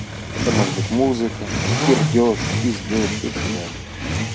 это может быть музыка пердеж пиздеж и так далее